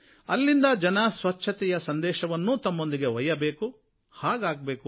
ಅಲ್ಲಿಂದ ಜನ ಸ್ವಚ್ಛತೆಯ ಸಂದೇಶವನ್ನೂ ತಮ್ಮೊಂದಿಗೆ ಒಯ್ಯಬೇಕು ಹಾಗೇ ಆಗಬೇಕು